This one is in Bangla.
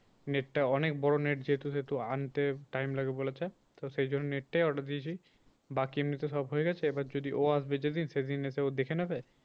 Net টা অনেক বড়ো net যেহেতু সেহেতু আনতে time লাগবে বলেছে তো সেই জন্যে net টাই order দিয়েছি। বাকি এমনি তো সব হয়ে গেছে এবার যদি ও আসবে যেদিন সেদিন এসে ও দেখে নেবে।